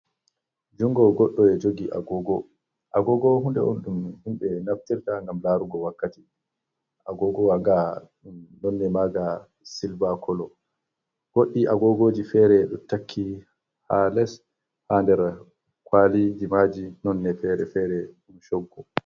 Juungo godɗo ejoogi agogo, agogo hunde'on ɗum himɓe naftirta ngam laarugo wakkati. Agogowa nga nonne maaga silva koloo. Godɗi agogoji fere ɗotakki ha less ha nder kwaalijimaji nonne fere-fere ɗum choggu.